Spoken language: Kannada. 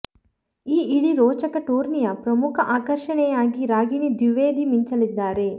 ಈ ಇಡೀ ರೋಚಕ ಟೂರ್ನಿಯ ಪ್ರಮುಖ ಆಕರ್ಷಣೆಯಾಗಿ ರಾಗಿಣಿ ದ್ವಿವೇದಿ ಮಿಂಚಲಿದ್ದಾರೆ